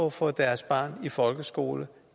at få deres barn i folkeskolen